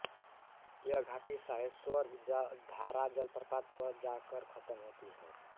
यह घाटी साहेश्वर धारा जलप्रपात पर जा कर ख़त्म होती है